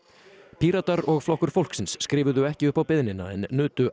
Píratar og Flokkur fólksins skrifuðu ekki upp á beiðnina en nutu